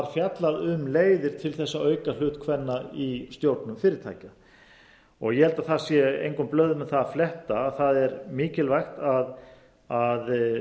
fjallað um leiðir til að auka hlut kvenna í stjórnum fyrirtækja ég held að það sé engum blöðum um það að fletta að það er mikilvægt að